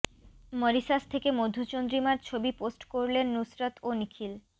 Mauritius থেকে মধুচন্দ্রিমার ছবি পোস্ট করলেন নুসরত ও নিখিল